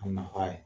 A nafa ye